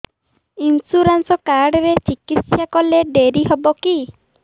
insurance card ରେ ଚିକିତ୍ସା କଲେ ଡେରି ହବକି